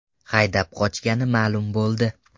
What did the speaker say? haydab qochgani ma’lum bo‘ldi.